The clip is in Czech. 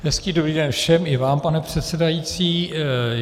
Hezký dobrý den všem, i vám, pane předsedající.